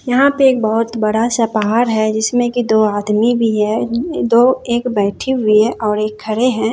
यहां पे एक बहोत बड़ा-सा पहाड़ है जिसमें की दो आदमी भी है दो एक बैठी हुई है और एक खड़े हैं।